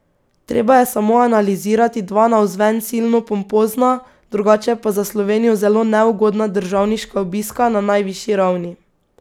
Treba je samo analizirati dva navzven silno pompozna, drugače pa za Slovenijo zelo neugodna državniška obiska na najvišji ravni.